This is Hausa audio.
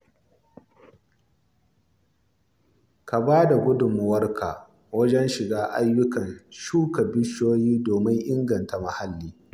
Ka ba da gudummawarka wajen shiga ayyukan shuka bishiyoyi domin inganta muhalli.